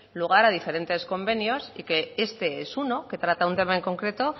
lugar a diferentes convenios y que este es uno que trata un tema en concreto